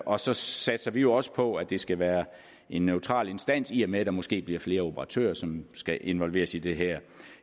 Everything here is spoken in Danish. og så satser vi jo også på at det skal være en neutral instans i og med at der måske bliver flere operatører som skal involveres i det her